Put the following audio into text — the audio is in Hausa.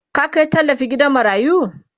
ka Kai tallafi gidan marayu?